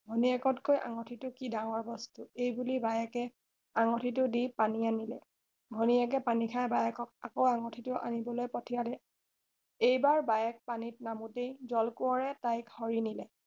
ভনীয়েতকৈ আঙঠিটো কি ডাঙৰ বস্তু এই বুলি বায়েকে আঙঠিটো দি পানী আনিলে ভনীয়েকে পানী খাই বায়েকক আকৌ আঙঠিটো আনিবলৈ পঠিয়ালে এইবাৰ বায়েক পানীত নামোতেই জল কোঁৱৰে তাইক হৰিনিলে